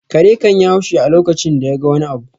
Kare kan yi haushi a lokacin da ya ga wani abu